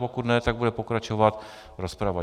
Pokud ne, tak bude pokračovat rozprava.